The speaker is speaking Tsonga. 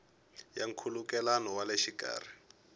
ya nkhulukelano wa le xikarhi